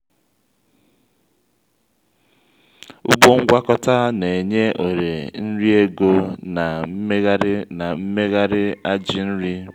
ugbo ngwakọta na-enye ohere nri ego na mmegharị na mmegharị ajị nri.